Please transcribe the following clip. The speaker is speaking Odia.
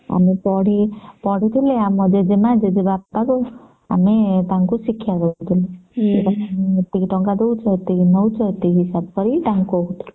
ଆମେ ପଢି ପଢିଥିଲେ ଆମ ଜେଜେମା ଜେଜେବାପା ଙ୍କୁ ଆମେ ତାଙ୍କୁ ଶିକ୍ଷା ଦେଉଥିଲୁ ଏତିକି ଟଙ୍କା ନେଉଛ ଏତିକି ଟଙ୍କା ଦଉଚ ହିସାବ କରିକି ତାଙ୍କୁ